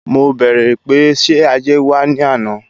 Mo bẹ̀ẹ̀rẹ̀ pé ṣe ajé wa ni ana?